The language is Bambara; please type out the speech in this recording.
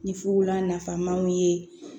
Ni fula nafamaw ye